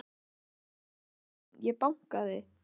Já en elskan mín. ég bankaði!